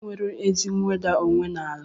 Kedụ onye nwere ezi nweda onwe n'ala?